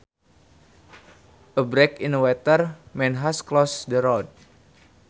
A break in a water main has closed the road